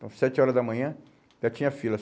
Então, sete horas da manhã, já tinha fila.